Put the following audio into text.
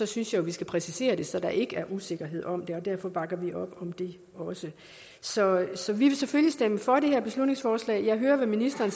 synes jeg vi skal præcisere det så der ikke er usikkerhed om det og derfor bakker vi op om det også så så vi vil selvfølgelig stemme for det her beslutningsforslag jeg hørte at ministeren